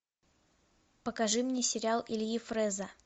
покажи мне сериал ильи фрэза